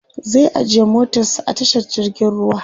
zai ajiye motarsa a tashar jirgin ruwa